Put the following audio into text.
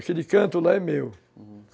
Aquele canto lá é meu, uhum.